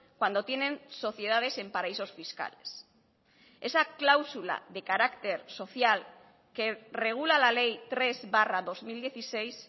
cuando tienen sociedades en paraísos fiscales esa cláusula de carácter social que regula la ley tres barra dos mil dieciséis